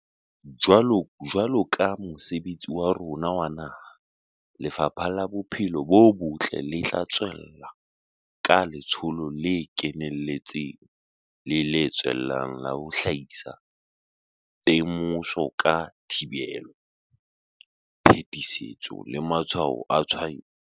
Jwaloka mosebetsi wa rona wa naha, Lefapha la Bophelo bo Botle le tla tswella ka letsholo le keneletseng le le tswellang la ho hlahisa temoso ka thibelo, phetisetso le matshwao a tshwaetso.